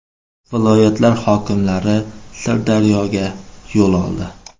Viloyatlar hokimlari Sirdaryoga yo‘l oldi.